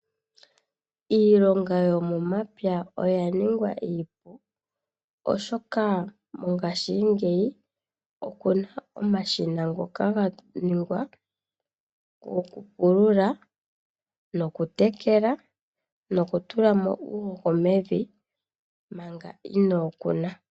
Iilonga yo mo mapya oyaningwa iipu, oshoka mongashingeyi okuna omashina ngoka ganignwa gokupulula, no kutekela , nokutulamo uuhoho mevi, manga inookuna.